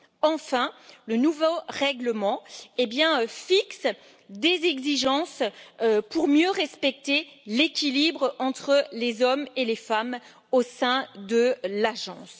Enfin, le nouveau règlement fixe des exigences pour mieux respecter l'équilibre entre les hommes et les femmes au sein de l'agence.